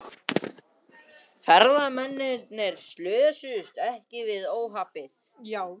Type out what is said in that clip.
Ferðamennirnir slösuðust ekki við óhappið